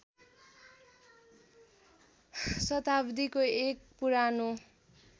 शताब्दीको एक पुरानो